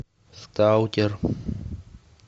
сталкер